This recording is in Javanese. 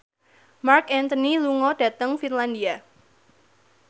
Marc Anthony lunga dhateng Finlandia